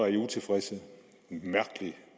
det